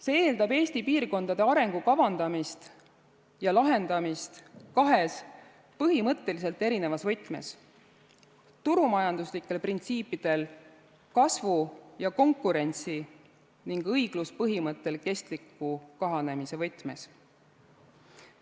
See eeldab Eesti piirkondade arengu kavandamist ja lahendamist kahes põhimõtteliselt erinevas võtmes: turumajanduslikel printsiipidel kasvu ja konkurentsi ning õigluspõhimõttel kestliku kahanemise võtmes.